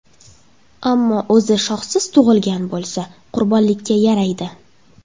Ammo o‘zi shoxsiz tug‘ilgan bo‘lsa, qurbonlikka yaraydi.